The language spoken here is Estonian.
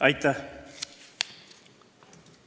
Aitäh!